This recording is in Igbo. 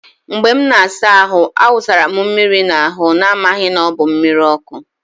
Mgbe m na-asa ahụ, a wụsara m mmiri n'ahụ n'amaghị na ọ bụ mmiri ọkụ.